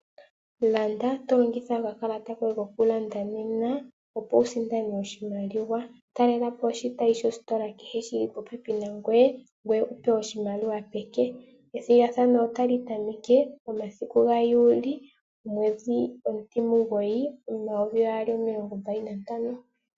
Landa to longitha okakalata koye kokulanda nena opo wusindane oshimaliwa. Talelapo oshitayi sho sitola kehe shili popepi nangoye ngoye wupewe oshimaliwa peke. Ethigathano otali tameke momasiku gaali omwedhi omutimugoyi omayovi gaali nomilongombali nantano.